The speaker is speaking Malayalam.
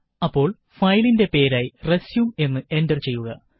അപ്പോള് ഫയലിന്റെ പേരായി റെസ്യും എന്ന് എന്റര് ചെയ്യുക